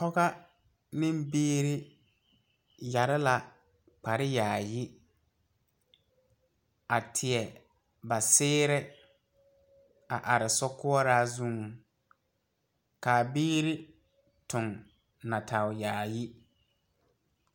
Pɔgega ne biiri yeere la kpare yaayi ,a teɛ ba seere are sokɔɔre zuŋ kaa biiri tu natɛɛ yaayi.